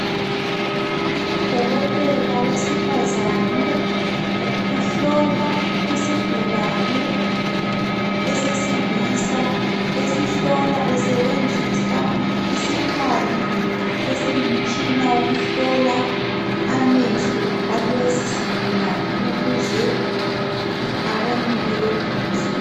Udokotela owesifazane uhlola isigulane esesilisa. Esihlola esebenzisa isikhali esingumtshina wokuhlola amehlo alesi sigulane ukuze abonele eduze.